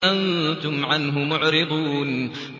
أَنتُمْ عَنْهُ مُعْرِضُونَ